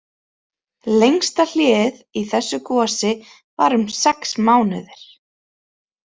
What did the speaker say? Lengsta hléið í þessu gosi var um sex mánuðir.